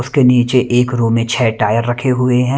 उसके नीचे एक रूम में छे टायर रखे हुए हैं।